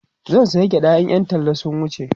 zan saya gyaɗa in Yan talla sun wuce